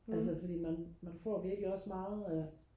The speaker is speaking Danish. altså fordi man man får virkelig også meget af